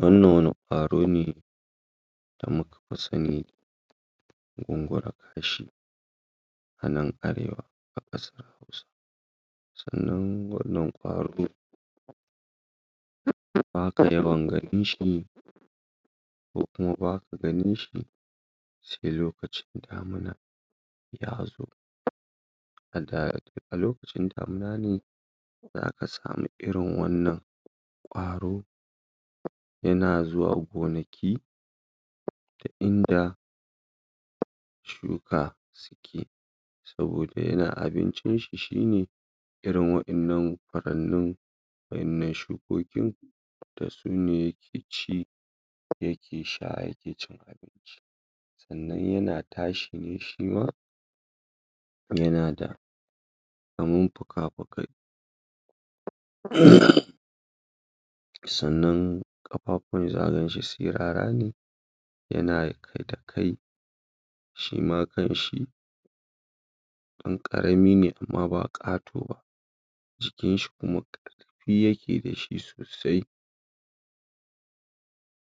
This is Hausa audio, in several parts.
Wannan wani kwaro ne da muka sani da gungura kashi anan arewa a kar Hausa, sannan wannan kwaro baka yawan ganin shi kokuma baka ganin shi sai lokacin damina ya zo adaa,a lokacin damina ne za ka samu irin wannan kwaro yana zuwa gonaki ta inda shuka suke, saboda yanayin abincinsi shi ne irin wadannan, wannan, wadannan shukokin dasu ne yake ci yake sha yake cin abinci, sannan yana tashi ne shima kuma yana da kamar fika-fukai um sannan kafafuwan zakagan shi sirara ne yana da kai, shima kan shi dan karami ne amma ba kato ba, jikin shi kuma karfi yake da shi sosai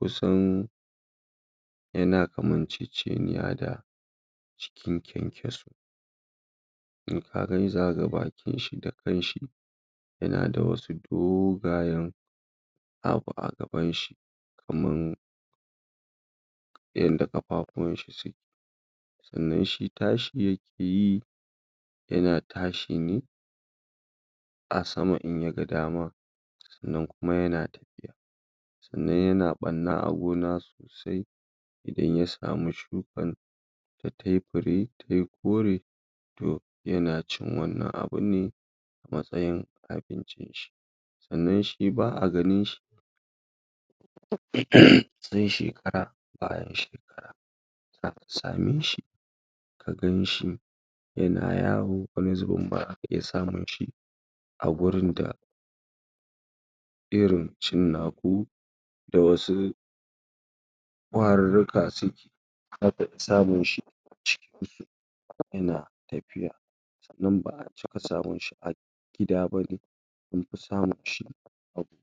kusan yana kaman ceceniya da jikin kyankyaso in ka gan shi za kaga bakin shi da kan shi yana da wasu dogayan abu a gaban shi kamar yadda kafafuwan shi suke, sannan shi tashi yake yi, yana tashi ne a sama in ya gadama, sannan kuma sannan yana barna a gona sosai idan ya samu shukan da tai fire tayi kore to yana cin wannan abunne mastayin abincin shi, sannan shi ba a ganin shi [uumm] sai shekara bayan shekara, za a same shi a ganshi yana yawo wani zubin ba a iya samun shi a gurin da irin cinnaku da wasu kwarirrika suke akafi samun shi cikin ko yana tafiya sannan ba a taba samun shi a gida ba anfi samun shi a gona.